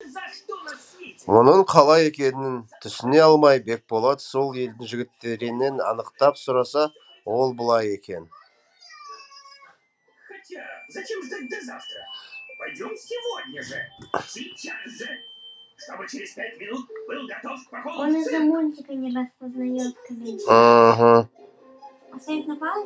мұның қалай екенін түсіне алмай бекболат сол елдің жігіттерінен анықтап сұраса ол былай екен